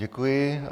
Děkuji.